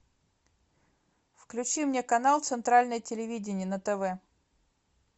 включи мне канал центральное телевидение на тв